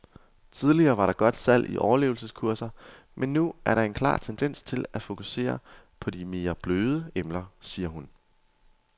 Tidligere var der godt salg i overlevelseskurser, men nu er der en klar tendens til at fokusere på de mere bløde emner, siger hun.